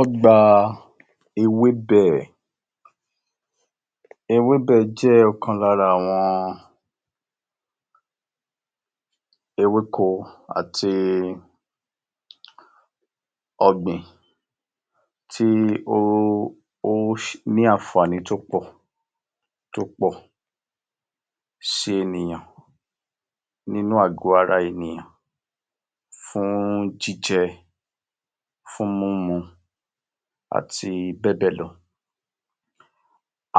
Ọgbà ewébẹ̀ Ewébẹ̀ jẹ́ ọ̀kan lára àwọn ewéko àti ọ̀gbìn tí ó ó ní àǹfààní tó pọ̀ tó pọ̀ sí ènìyàn nínú àgọ ara ènìyàn fún jíjẹ, fún mímu àti bẹ́ẹ̀bẹ́ẹ̀ lọ.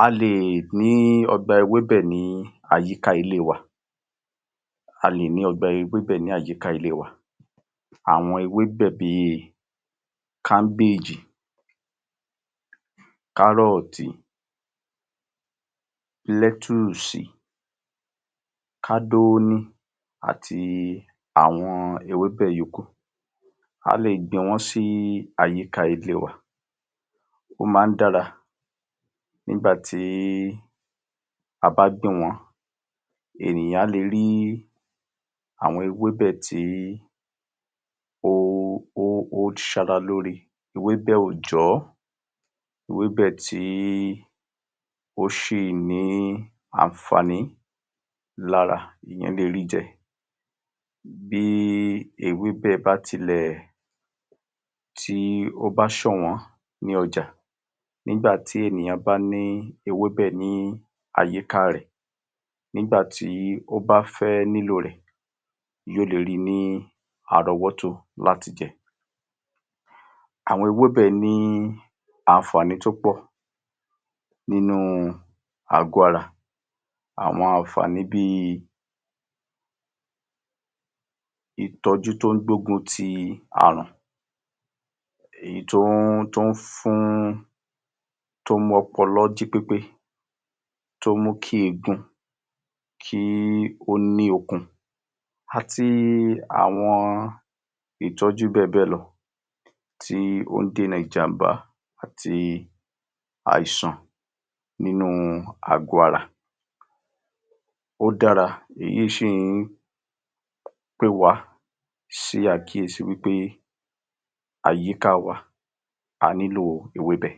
A lè ní ọgbà ewébẹ̀ ní àyíká ilé wa. A lè ní ọgbà ewébẹ̀ ní àyíká ilé wa. Àwọn ewébẹ̀ bí i káńbéèjì, kárọ̀tì, lẹ́tùùsì, kádóóní, àti àwọn ewébẹ̀ yòókù. A lè gbìn wọ́n sí àyíká ilé wa. Ó máa ń dára nígbàtí a bá gbìn wọ́n. Ènìyàn á le rí àwọn ewébẹ̀ tí ó sara lóore. Ewébẹ̀ òòjọ́, ewébẹ̀ tí ó ṣì ní àǹfààní lára, èèyàn lè rí jẹ. Bí ewébẹ̀ bá tilẹ̀ tí ó bá sọ̀nwọ́n ní ọjà, nígbà tí ènìyàn bá ní ewébẹ̀ ní àyíká rẹ̀, nígbà tí ó bá fẹ́ nílò rẹ̀ ni ó le rí ní àrọ́wọ́tó láti jẹ. Àwọn ewébẹ̀ ní àǹfààní tó pọ̀ nínú àgọ ara. Àwọn àǹfààní bí i ìtọ́jú tó ń gbógun ti àrùn, èyí tó ń tó ń fún, tó ń mú ọpọlọ jí pépé, tó mú kí egun kí ó ni okun àti àwọn ìtọ́jú bẹ́ẹ̀bẹ́ẹ̀ lọ tí ó ń dènà ìjàmbá àti àìsàn nínú àgọ ara. Ó dára èyí ṣì ń pé wa sí àkíyèsí wí pé àyíká wa, a nílò ewébẹ̀.